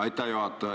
Aitäh, juhataja!